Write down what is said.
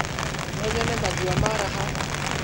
No nyone maziwa mara haha?